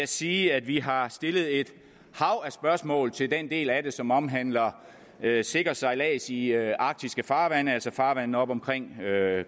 sige at vi har stillet et hav af spørgsmål til den del af det som omhandler sikker sejlads i i arktiske farvande altså farvandene oppe omkring